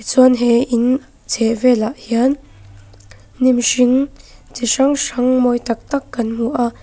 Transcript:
chuan he in chhehvelah hian hnim hring chi hrang hrang mawi tak tak kan hmu bawk a.